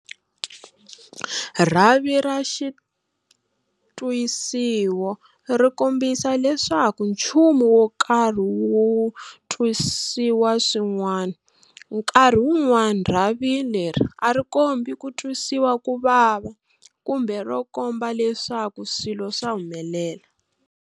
Rhavi ra xitwisiwo ri kombisa leswaku nchumu wo karhi wu twisiwa swin'wana. Nkarhi wun'wana rhavi leri a ri kombi ku twisiwa ku vava kumbe ro komba leswaku swilo swa humelela.